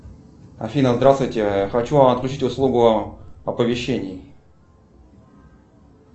афина здравствуйте хочу отключить услугу оповещения